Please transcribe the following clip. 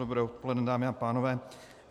Dobré odpoledne, dámy a pánové.